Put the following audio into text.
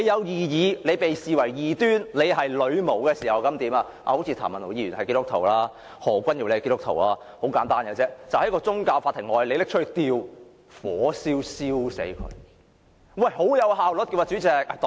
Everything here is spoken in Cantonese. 當你被視為異端教徒或女巫時候便如何——譚文豪議員和何君堯議員好像也是基督徒——很簡單，便是在宗教法庭外，把該等人物活活燒死。